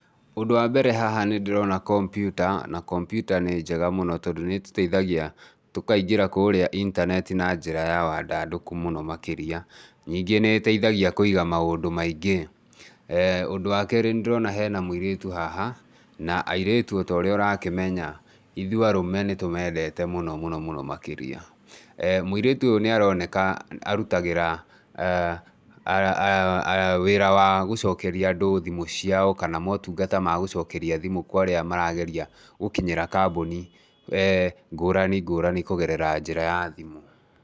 ũndũ wa mbere haha nĩndĩrona kompiuta na kompiuta nĩ njega mũno tondũ nĩtũteithagia tũkaingĩra kũrĩa intaneti na njĩra ya wandandũku mũno makĩria. Nyingĩ nĩ ĩteithagia kũiga maũndũ maingĩ. Ũndũ wa kerĩ nĩndĩrona hena mũirĩtu haha, na airĩtu o ta ũrĩa ũrakĩmenya , ithui arũme nĩtũmendete mũno mũno mũno makĩria. Mũirĩtu oyo nĩ aroneka arutagĩra wĩra wa gũcokeria andũ thimũ ciao kana motungata ma gũcokeria thimũ kwa arĩa marageria gũkinyĩra kambuni ngũrani ngũrani kũgerera njĩra ya thimũ.